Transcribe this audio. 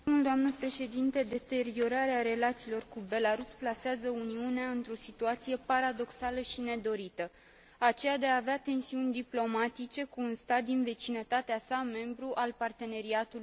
Deteriorarea relațiilor cu Belarus plasează Uniunea într o situație paradoxală și nedorită, aceea de a avea tensiuni diplomatice cu un stat din vecinătatea sa, membru al Parteneriatului Estic.